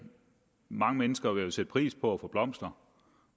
mange mennesker jo sætte pris på at få blomster